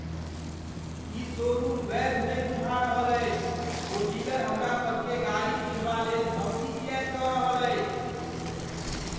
ई showroom वैध नहि बुझा रहल अछि। ओ डीलर हमरा सभकेँ गाड़ी किनबालेल धमकी किएक दऽ रहल अछि?